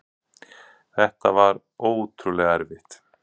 Þetta var ótrúlega erfitt.